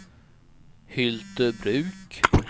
Hyltebruk